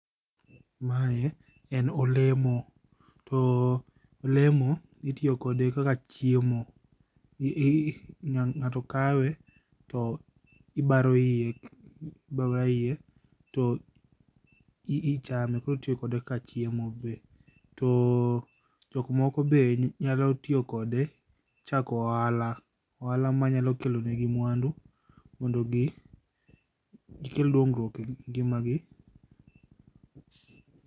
Mae en olemo to olemo itiyo kod ekaka chiemo, ng'ato kawe to ibaro iye, iba abaya iye to ichame kotiyo kode kaka chiemo be. To jok moko be nyalo tiyo kode chako ohala, ohala manyalo kelo negi mwandu mondo gi, gikel dongruok e ngima gi